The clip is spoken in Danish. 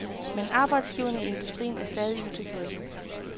Men arbejdsgiverne i industrien er stadig utilfredse.